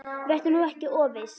Vertu nú ekki of viss.